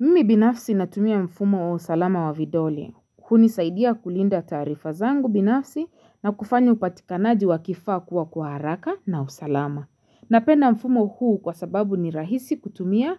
mimi binafsi natumia mfumo wa usalama wa vidole, hunisaidia kulinda taarifa zangu binafsi na kufanya upatikanaji wa kifaa kuwa kwa haraka na usalama, napenda mfumo huu kwa sababu ni rahisi kutumia